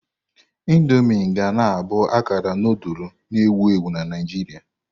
Indomii ga na abụ akara nudulu na-ewu ewu na Naijiria.